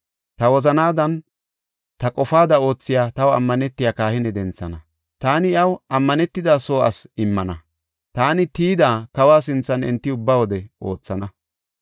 Ta wozanaadanne ta qofaada oothiya taw ammanetiya kahine denthana. Taani iyaw ammanetida soo asi immana; taani tiyida kawa sinthan enti ubba wode oothana.